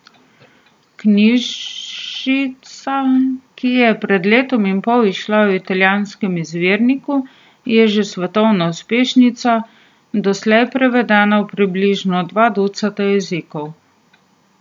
Knjižica, ki je pred letom in pol izšla v italijanskem izvirniku, je že svetovna uspešnica, doslej prevedena v približno dva ducata jezikov.